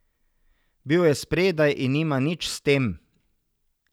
Bil je spredaj in nima nič s tem.